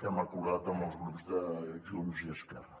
que hem acordat amb els grups de junts i esquerra